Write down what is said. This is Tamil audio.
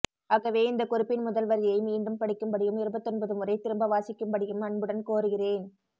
ஆகவே இந்தக் குறிப்பின் முதல்வரியை மீண்டும் படிக்கும்படியும் இருபத்தொன்பதுமுறை திரும்ப வாசிக்கும்படியும் அன்புடன் கோருகிறேன்